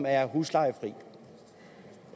er huslejefri